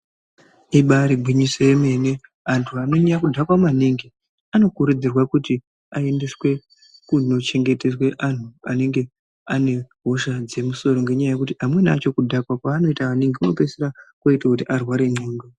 Ibaari gwinyiso yemene antu anonyanya kudhakwa maningi anokurudzirwa kuti aendeswe kunochengeterwe antu anenge aine hosha dzemusoro ngenyaya yekuti amweni acho kudhakwa kwaanoita maningi kunopeisira kwoite kuti arware ndxondo.